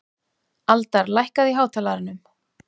Aldar, lækkaðu í hátalaranum.